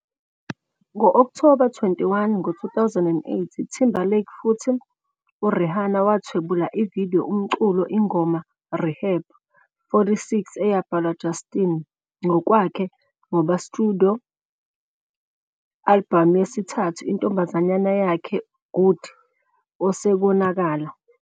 Ngo-October 21, 2008, Timberlake futhi Rihanna wathwebula video umculo ingoma "Rehab", 46 eyabhalwa Justin ngokwakhe ngoba studio albhamu yesithathu intombazanyana yakhe Good osekonakala.